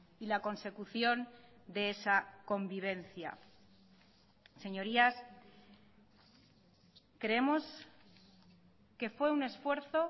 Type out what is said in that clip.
y la consecución de esa convivencia señorías creemos que fue un esfuerzo